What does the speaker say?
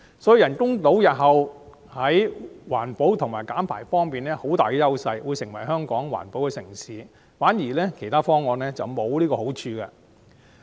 所以，人工島日後在環保和減排方面擁有很大的優勢，會成為香港的環保城市，其他方案則沒有這個好處。